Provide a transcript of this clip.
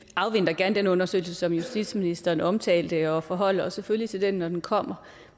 afventer gerne den undersøgelse som justitsministeren omtalte og forholder os selvfølgelig til den når den kommer